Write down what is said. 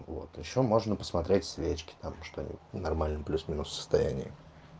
вот ещё можно посмотреть свечки там что они в нормальном плюс-минус состоянии